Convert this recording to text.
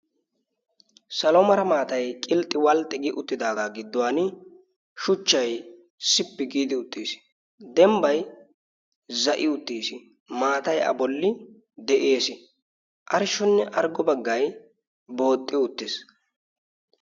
saloomara maatai qilxxi walxxi gi uttidaagaa gidduwan shuchchai sippi giidi uttiis. dembbai za7i uttiis maatai a bolli de7ees. arshshonnearggo baggai booxxi uttiis.